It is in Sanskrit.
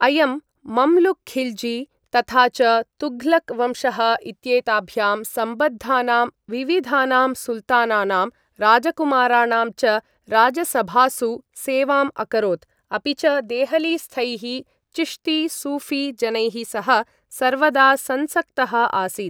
अयं मम्लुक् खिल्जी तथा च तुघ्लक् वंशः इत्येताभ्यां सम्बद्धानां विविधानां सुल्तानानां राजकुमाराणां च राजसभासु सेवाम् अकरोत्, अपि च देहलीस्थैः चिश्ती सूऴी जनैः सह सर्वदा संसक्तः आसीत्।